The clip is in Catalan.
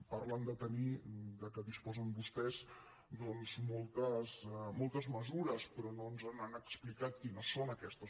parlen del fet que disposen vostès de moltes mesures però no ens han explicat quines són aquestes